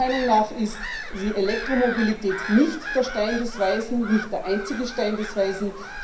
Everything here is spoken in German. Meiner Meinung nach ist die Elektromobilität nicht der Stein der Weisen, nicht der einzige Stein der Weisen.